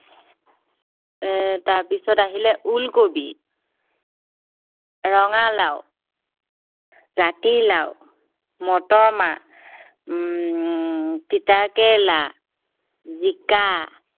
এৰ তাৰপিছত আহিলে ওলকবি ৰঙালাও জাতিলাও, মটৰমাহ উম তিতাকেৰেলা, জিকা